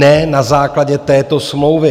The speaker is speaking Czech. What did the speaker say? Ne na základě této smlouvy.